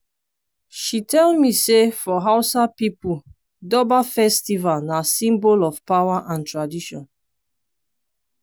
she tell me sey for hausa pipo durbar festival na symbol of power and tradition.